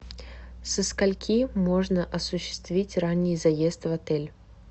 со скольки можно осуществить ранний заезд в отель